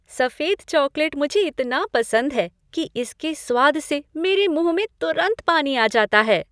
सफेद चॉकलेट मुझे इतना पसंद है कि इसके स्वाद से मेरे मुह में तुरंत पानी आ जाता है।